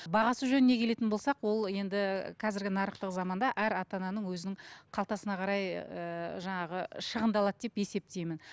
бағасы жөніне келетін болсақ ол енді қазіргі нарықтық заманда әр ата ананың өзінің қалтасына қарай ыыы жаңағы шығындалады деп есептеймін